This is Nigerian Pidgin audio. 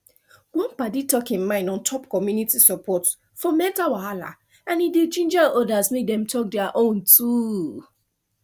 one padi talk him mind on top community support for mental wahala and e de ginger others make dem talk their own too